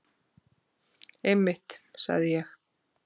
Einmitt, sagði ég.